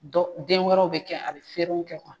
Dɔnk den wɛrɛw bɛ kɛ a bɛ feerew kɛ kuwa.